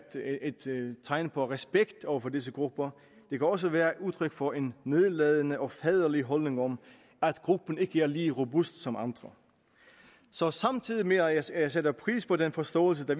tegn på respekt over for disse grupper det kan også være udtryk for en nedladende og faderlig holdning om at gruppen ikke er lige så robust som andre så samtidig med at jeg sætter pris på den forståelse der